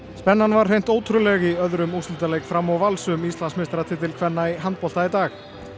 spennan var hreint ótrúleg í öðrum úrslitaleik Fram og Vals um Íslandsmeistaratitil kvenna í handbolta í dag